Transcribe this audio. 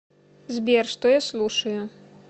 сбер что я слушаю